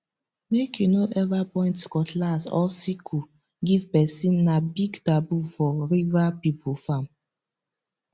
make you no ever point cutlass or sickle give person na big taboo for river people farm